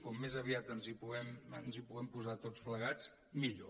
com més aviat ens hi puguem posar tots plegats millor